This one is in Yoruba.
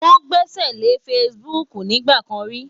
Wọn gbẹ́sẹ̀lé Facebook nígbà kan ri.